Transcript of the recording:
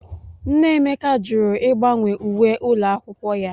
Nne Emeka jụrụ ịgbanwe uwe ụlọ akwụkwọ ya.